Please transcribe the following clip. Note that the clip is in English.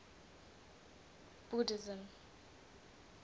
buddhism